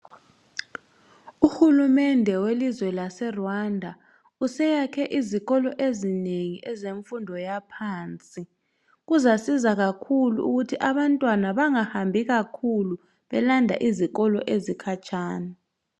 Uhulumende welizwe laseRwanda useyakhe izikolo ezinengi zemfundo yaphansi. Kuzasiza ukuthi abantwana bangahambi kakhulu belanda izikolo ezikhatshana.